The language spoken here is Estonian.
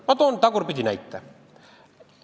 Ma toon tagurpidi näite.